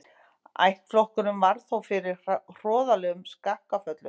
Ættflokkurinn varð þó fyrir hroðalegum skakkaföllum.